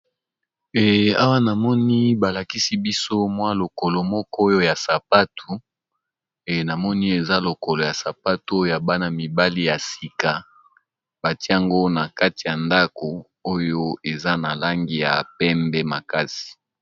Awa namoni balakisi biso lokolo moko ya sapatu, eza sapatu ya bana mibali